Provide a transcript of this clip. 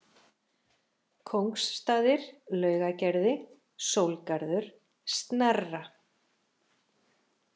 Kóngsstaðir, Laugagerði, Sólgarður, Snerra